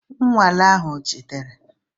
Nnwale ahụ ọ jidere?